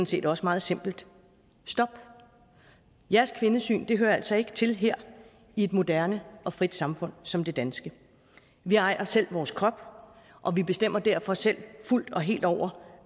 set også meget simpelt stop jeres kvindesyn hører altså ikke til her i et moderne og frit samfund som det danske vi ejer selv vores krop og vi bestemmer derfor selv fuldt og helt over